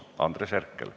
Andres Herkel.